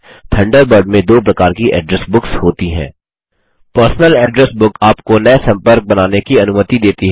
Thunderbird में दो प्रकार की एड्रेस बुक्स होती हैं पर्सनल एड्रेस बुक आपको नये सम्पर्क बनाने की अनुमति देती है